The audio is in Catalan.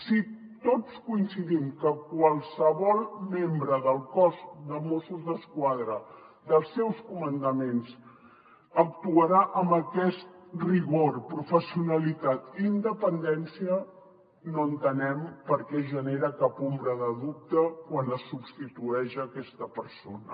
si tots coincidim que qualsevol membre del cos de mossos d’esquadra dels seus comandaments actuarà amb aquest rigor professionalitat i independència no entenem per què es genera cap ombra de dubte quan es substitueix aquesta persona